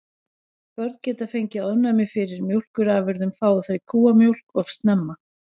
Börn geta fengið ofnæmi fyrir mjólkurafurðum fái þau kúamjólk of snemma.